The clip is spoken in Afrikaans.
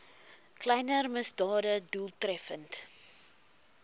kleiner misdade doeltreffend